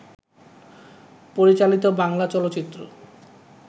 পরিচালিত বাংলা চলচ্চিত্র